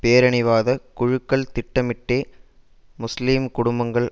பேரினவாத குழுக்கள் திட்டமிட்டே முஸ்லீம் குடும்பங்கள்